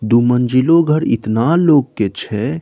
दू मंजिलो घर इतना लोग के छै।